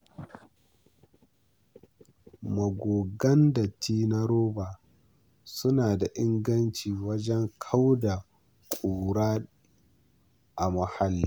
Magogin datti na roba suna da inganci wajen kauda ƙura a muhalli.